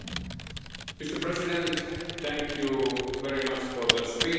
Mr President, thank you very much for the speeches.